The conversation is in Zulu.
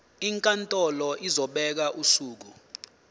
inkantolo izobeka usuku